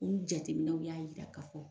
U jateminɛw y'a yira ka fɔ.